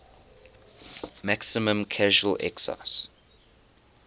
maximum casual excise